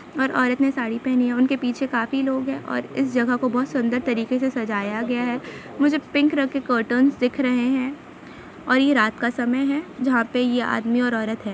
और औरत ने साड़ी पहनी हैं उनके पीछे काफी लोग हैं और इस जगह क बहुत सुंदर तरीके से सजाया गया है मुझे पिंक कलर के कर्टन दिख रहे हैं और ये रात का समय है जहां पे ये आदमी और औरत हैं ।